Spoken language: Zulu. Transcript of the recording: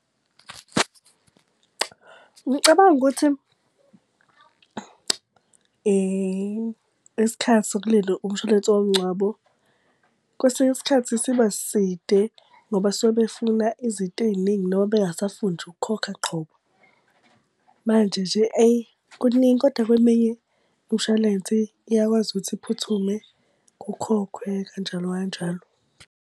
Ngicabanga ukuthi isikhathi sokulinda umshwalense womngcwabo kwesinye isikhathi siba side ngoba suke befuna izinto ey'ningi noma bengasafuni nje ukukhokha qoba. Manje nje eyi, kuningi kodwa kweminye imshwalense iyakwazi ukuthi iphuthume, kukhokhwe kanjalo kanjalo.